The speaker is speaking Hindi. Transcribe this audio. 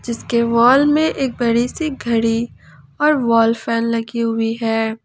इसके वॉल में एक बड़ी सी घड़ी और वाल फैन लगी हुई है।